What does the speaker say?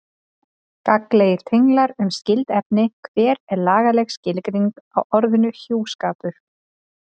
Gagnlegir tenglar um skyld efni Hver er lagaleg skilgreining á orðinu hjúskapur?